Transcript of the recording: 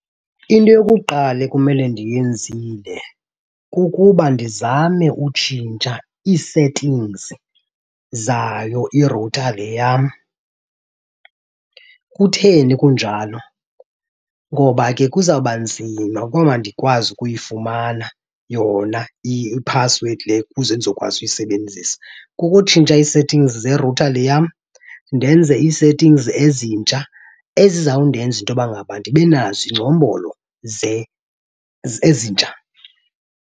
Into yokuqala ekumele ndiyenzile kukuba ndizame utshintsha ii-settings zayo irutha le yam. Kutheni kunjalo? Ngoba ke kuzawuba nzima ukuba ndikwazi ukuyifumana yona iphasiwedi le ukuze ndizokwazi ukuyisebenzisa. Kukutshintsha ii-settings zerutha le yam, ndenze ii-settings ezintsha ezizawundenza into yoba ngaba ndibe nazo iingcombolo ezintsha.